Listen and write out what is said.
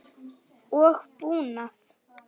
og búnað.